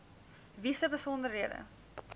wie se besonderhede